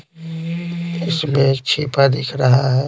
इसमें एक छिपा दिख रहा है।